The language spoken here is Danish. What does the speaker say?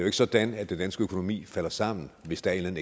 ikke sådan at den danske økonomi falder sammen hvis der er en